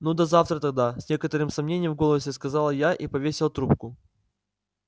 ну до завтра тогда с некоторым сомнением в голосе сказала я и повесила трубку